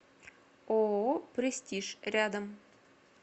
ооо престиж рядом